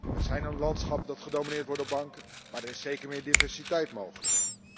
We zijn een landschap dat gedomineerd wordt door banken, maar er is zeker meer diversiteit mogelijk.